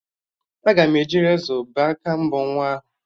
Aga m eji rezọ bee aka mbọ nwa ahụ